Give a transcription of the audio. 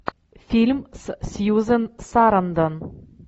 фильм с сьюзен сарандон